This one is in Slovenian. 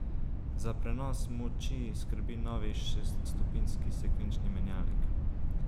Za prenos moči skrbi novi šeststopenjski sekvenčni menjalnik.